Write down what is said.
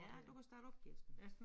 Ja du kan starte op Kirsten